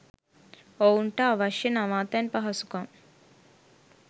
ඔවුන්ට අවශ්‍ය නවාතැන් පහසුකම්